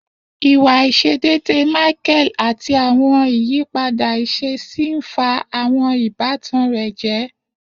Iwa aiṣedeede Michael ati awọn iyipada iṣesi n fa awọn ibatan rẹ jẹ.